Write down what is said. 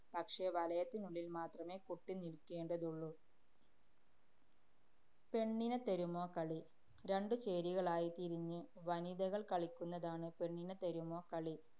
പക്ഷേ വലയത്തിനുള്ളില്‍ മാത്രമേ കുട്ടി നില്‍ക്കേണ്ടതുള്ളൂ. പെണ്ണിനെത്തരുമോ കളി. രണ്ടു ചേരികളായി തിരിഞ്ഞ് വനിതകള്‍ കളിക്കുന്നതാണ് പെണ്ണിനെത്തരുമോ കളി.